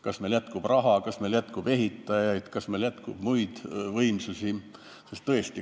Kas meil jätkub raha, kas meil jätkub ehitajaid, kas meil jätkub muid võimsusi?